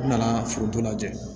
N nana foronto lajɛ